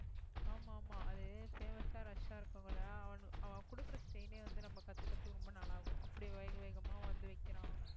ஆமா ஆமா அது famous ஆ rush ஆ இருக்ககுள்ள அவ கொடுக்கிற style ஏ வந்து நம்ம கத்துக்கிறதுக்கு ரொம்ப நாள் ஆகும் அப்படி வேக வேகமா வந்து வைக்கிறான்